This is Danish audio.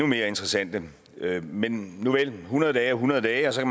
mere interessante men nuvel hundrede dage er hundrede dage så